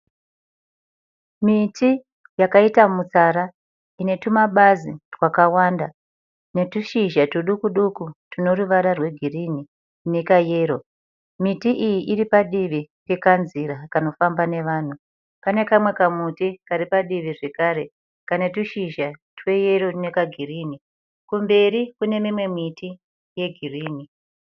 Miti yakaita mutsara inetumabazi twakawanda, netushizha tudukuduku tuneruvara rwegirinhi inekayero. Miti iyi iripadivi pekanzira kanofamba nevanhu. Pane kamwe kamuti karipadivi zvekare kanetushizha tweyero nekagirinhi. Kumberi kune mimwe miti yegirinhi.